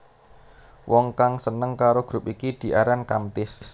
Wong kang seneng karo grup iki diaran Kamtis